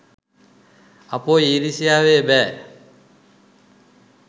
අපොයි ඊරිසියාවේ බෑ